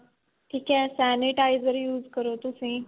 ਠੀਕ ਏ sanitizer use ਕਰੋ ਤੁਸੀਂ